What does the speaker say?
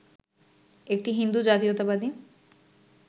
একটি হিন্দু জাতীয়তাবাদী